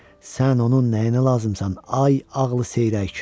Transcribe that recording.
Sən onun nəyinə lazımsan, ay ağılı seyrək!